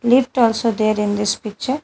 Lift also there in this picture.